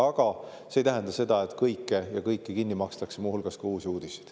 Aga see ei tähenda seda, et kõike ja kõiki kinni makstakse, muu hulgas ka Uusi Uudiseid.